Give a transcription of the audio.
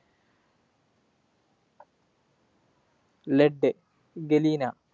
LeadGalena